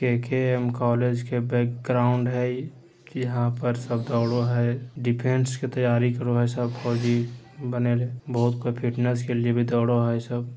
KKM. College के background हेय इ की यहां पर सब दौड़ो हेय डिफरेंस के तैयारी करवा लो सब फौजी बने ले बहुत कोय फिटनेस के लिए भी दौड़ो हेय इ सब।